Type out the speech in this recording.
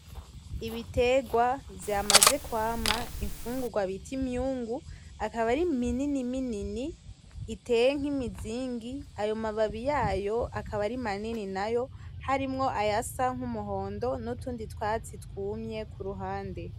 Ibitegwa vyamaze kwama infungugwa bita imyungu akaba ari minini minini, iteye nk’imizingi, ayo mababi yayo akaba ari manini nayo harimwo ayasa nk’umuhondo n’utundi twatsi twumye ku ruhande.